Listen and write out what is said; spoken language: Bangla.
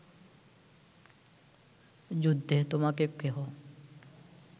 যুদ্ধে তোমাকে কেহ